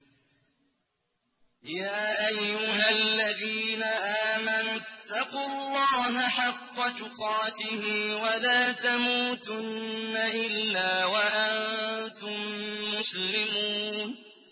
يَا أَيُّهَا الَّذِينَ آمَنُوا اتَّقُوا اللَّهَ حَقَّ تُقَاتِهِ وَلَا تَمُوتُنَّ إِلَّا وَأَنتُم مُّسْلِمُونَ